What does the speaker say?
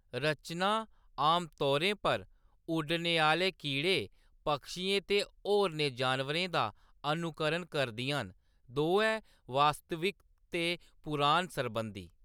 रचनां आमतौरें पर उड्डने आह्‌‌‌ले कीड़ें, पक्षियें ते होरनें जानवरें दा अनुकरण करदियां न, दोऐ वास्तविक ते पुराण सरबंधी।